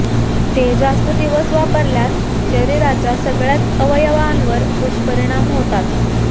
ते जास्त दिवस वापरल्यास शरीराच्या सगळ्याच अवयवांवर दुष्परिणाम होतात